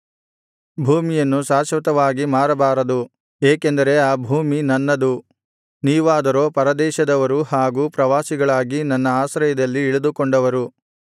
ಭೂಮಿಯನ್ನು ಶಾಶ್ವತವಾಗಿ ಮಾರಬಾರದು ಏಕೆಂದರೆ ಆ ಭೂಮಿ ನನ್ನದು ನೀವಾದರೋ ಪರದೇಶದವರು ಹಾಗೂ ಪ್ರವಾಸಿಗಳಾಗಿ ನನ್ನ ಆಶ್ರಯದಲ್ಲಿ ಇಳಿದುಕೊಂಡವರು